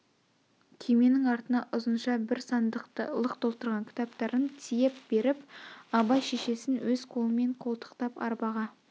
күйменің артына ұзынша бір сандықты лық толтырған кітаптарын тиеп беріп абай шешесін өз қолымен қолтықтап арбаға